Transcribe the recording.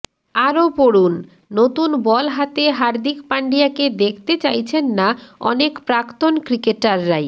আরও পড়ুন নতুন বল হাতে হার্দিক পাণ্ডিয়াকে দেখতে চাইছেন না অনেক প্রাক্তন ক্রিকেটাররাই